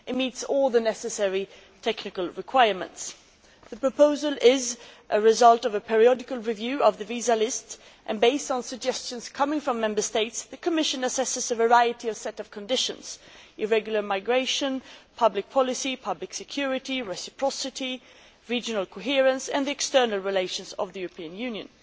It meets all the necessary technical requirements. The proposal is a result of a periodic review of the visa list and based on suggestions coming from Member States. The Commission assesses a variety of conditions irregular migration, public policy, public security, reciprocity, regional coherence and the external relations of the European Union.